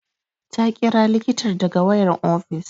Ta ƙira likitar daga wayan ofis